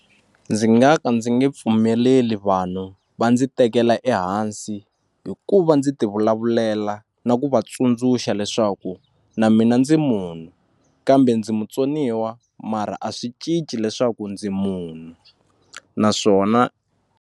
Ndzi nga ka ndzi nge pfumeleli vanhu va ndzi tekela ehansi hi ku va ndzi ti vulavulela na ku va tsundzuxa leswaku na mina ndzi munhu kambe ndzi mutsoniwa mara a swi cinci leswaku ndzi munhu naswona.